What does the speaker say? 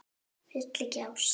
Vill ekki ást.